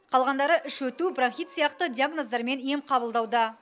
қалғандары іш өту бронхит сияқты диагноздармен ем қабылдауда